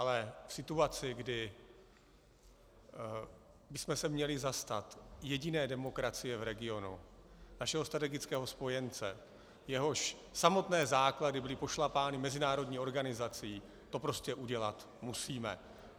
Ale v situaci, kdy bychom se měli zastat jediné demokracie v regionu, našeho strategického spojence, jehož samotné základy byly pošlapány mezinárodní organizací, to prostě udělat musíme.